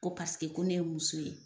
Ko paseke ko ne ye muso ye.